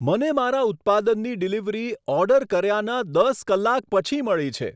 મને મારા ઉત્પાદનની ડિલિવરી ઓર્ડર કર્યાનાં દસ કલાક પછી મળી છે.